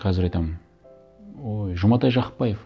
қазір айтамын ой жұматай жақыпбаев